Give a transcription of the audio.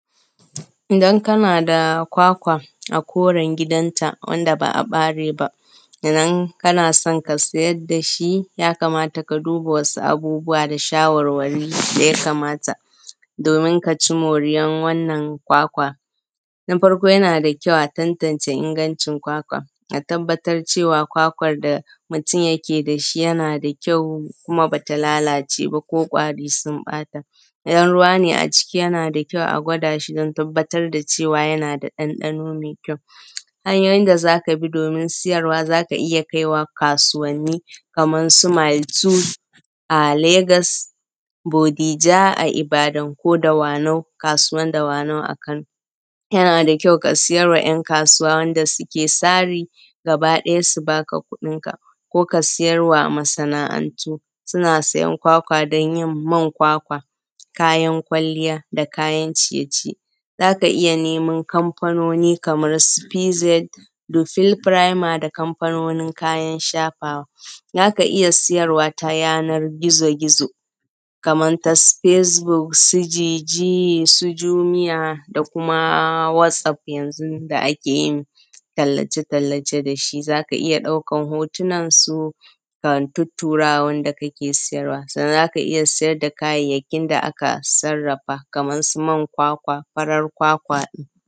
Idan kana da kwakwa a koren gidanta wanda ba a bare ba sannan kana don ka sayar dashi, ya kamata ka duba wasu abubuwa da shawarwari daya kamata domin kaci moriyar wannan kwakwa. Na farko yana da kyau a tantance ingancin a tabbatar cewa kwakwar da mutum yake dashi yana da kyau, kuma bata lalace ba ko ƙwari sun ɓata. Idan ruwa ne a ciki yana da kyau a gwada shi don tabbatar da cewa yana da ɗanɗano mai kyau. Hanyoyin da zaka bi domin siyarwa zaka iya kaiwa kasuwanni kaman su mayelto a Lagos, bodija a Ibadan, ko dawanau, kasuwan dawanau a Kano. Yana da kyau ka siyarwa ‘yan kasuwa wanda suke sari gaba ɗaya su baka kuɗinka, ko kayarwa masa’antu, suna siyan kwakwa don yin man kwakwa, kayan kwalliya da kayan ciye-ciye. Zaka iya neman kamfanoni kaman su PZ, dubil frame da kamfanonin kayan shafawa. Zaka iya siyarwa ta yana gizo-gizo, kaman su Facebook su JJ, su Jumia da kuma WhatsApp yanzu da ake yin tallace-tallace dashi, zaka iya ɗaukan hotonansu ka tuturawa wanda kake siyarwa, sannan zaka iya siyar da kayayyakin da aka sarrafa, kaman su man kwakwa, farar kwakwa ɗin.